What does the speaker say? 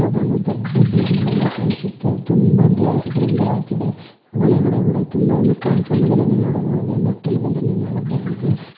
ಯಾವುದೋ ಒಂದು ದೊಡ್ಡು ಬಿಲ್ಡಿಂಗ್ ಒಂದು ಕಾಣಿಸುತ್ತೆ ತುಂಬಾ ಗ್ಲಾಸ್ ಗಳಿಂದ ಹಾಕಿದೆ ಒಳಗಡೆ ಕೂಡ ತುಂಬಾ ಒಂದು ಕಾಂಪೌಂಡ್ ಗಳನ್ನು ನೋಡಬಹುದು ಮೆಟ್ಟಿಲುಗಳನ್ನು ನೋಡಬಹುದು.